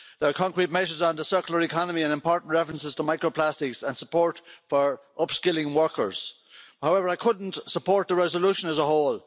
There are concrete measures on the circular economy and important references to microplastics and support for upskilling workers. However, I couldn't support the resolution as a whole.